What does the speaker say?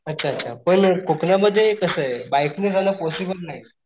अच्छा अच्छा पण कोकणामध्ये कसाय बाइक ने जाण पॉसिबल नाही.